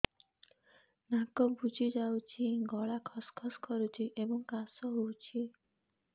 ନାକ ବୁଜି ଯାଉଛି ଗଳା ଖସ ଖସ କରୁଛି ଏବଂ କାଶ ହେଉଛି